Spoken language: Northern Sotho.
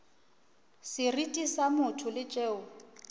seriti sa motho le tšeo